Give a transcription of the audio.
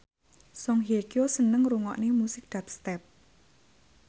Song Hye Kyo seneng ngrungokne musik dubstep